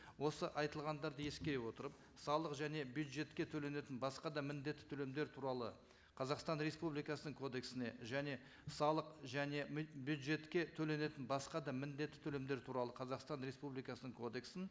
осы айтылғандарды ескере отырып салық және бюджетке төленетін басқа да міндетті төлемдер туралы қазақстан республикасының кодексіне және салық және бюджетке төленетін басқа да міндетті төлемдер туралы қазақстан республикасының кодексін